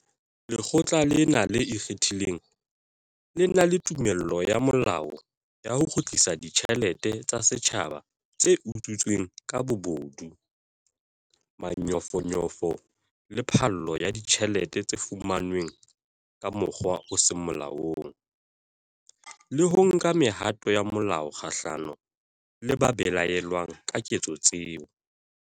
Lekgotla lena le ikgethang le na le tumello ya molao ya ho kgutlisa ditjhelete tsa setjhaba tse utswitsweng ka bobodu, manyofonyofo le phallo ya ditjhelete tse fumanweng ka mokgwa o seng molaong, le ho nka mehato ya molao kgahlano le ba belaellwang ka ketso tseo.